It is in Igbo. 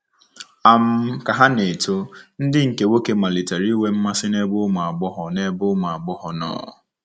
um Ka ha na - eto, ndị nke nwoke malitere inwe mmasị n’ebe ụmụ agbọghọ n’ebe ụmụ agbọghọ nọ.